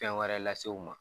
Fɛn wɛrɛ lase u ma.